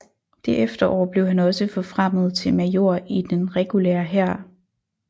Det efterår blev han også forfremmet til major i den regulære hær